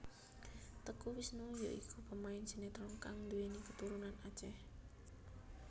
Teuku Wisnu ya iku pemain sinetron kang duwéni katurunan Aceh